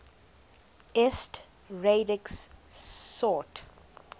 lsd radix sort